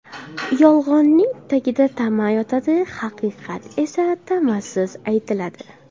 Yolg‘onning tagida tama yotadi, haqiqat esa tamasiz aytiladi.